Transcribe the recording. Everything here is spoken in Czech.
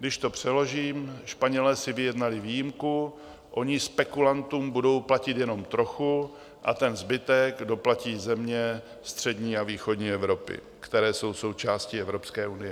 Když to přeložím, Španělé si vyjednali výjimku, oni spekulantům budou platit jenom trochu a ten zbytek doplatí země střední a východní Evropy, které jsou součástí Evropské unie.